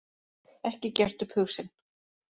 Ekki gert upp hug sinn